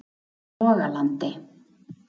Logalandi